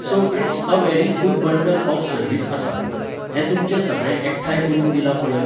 So it's a very good bundle of service आसा. हें तुमचें सगळें एकठांय करून दिलां पळय